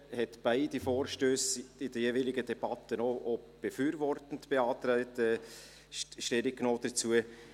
sie hat beide Vorstösse in der jeweiligen Debatte auch befürwortet und Stellung dazu genommen.